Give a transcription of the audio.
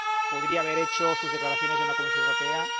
Podría haber hecho sus declaraciones en la Comisión Europea.